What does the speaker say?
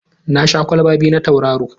Na sha kwalba biyu na Tauraro.